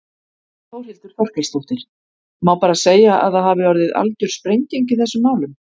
Þórhildur Þorkelsdóttir: Má bara segja að það hafi orðið algjör sprenging í þessum málum?